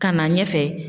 Ka na ɲɛfɛ